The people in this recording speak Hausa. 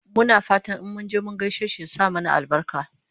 Muna fatan in munje mun gaishe shi ya sa mana albarka